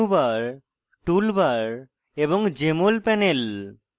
menu bar tool bar এবং jmol panel